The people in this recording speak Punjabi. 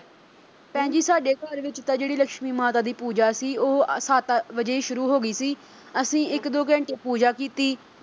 ਭੈਣ ਜੀ ਸਾਡੇ ਘਰ ਵਿੱਚ ਤਾਂ ਜਿਹੜੀ ਲਕਸ਼ਮੀ ਮਾਤਾ ਦੀ ਪੂਜਾ ਸੀ ਉਹ ਵੀ ਅਹ ਸੱਤ ਵਜੇ ਸ਼ੁਰੂ ਹੋ ਗਈ ਸੀ ਅਸੀਂ ਇੱਕ- ਦੋ ਘੰਟੇ ਪੂਜਾ ਕੀਤੀ।